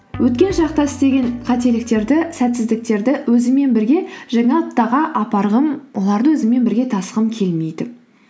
өткен шақта істеген қателіктерді сәтсіздіктерді өзіммен бірге жаңа аптаға апарғым оларды өзіммен бірге тасығым келмейді